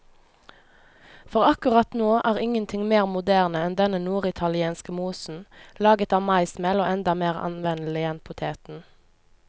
For akkurat nå er ingenting mer moderne enn denne norditalienske mosen, laget av maismel og enda mer anvendelig enn poteten.